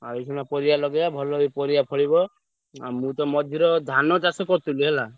ଆଉ ଏଇଖିଣା ପରିବା ଲଗେଇବା ଭଲ ବି ପରିବା ଫଳିବ। ଆଉ ମୁଁ ତ ମଝିରେ ଧାନ ଚାଷ କରିଥିଲି ହେଲା।